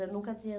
Eu nunca tinha